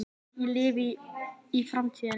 Ég lifi í framtíðinni.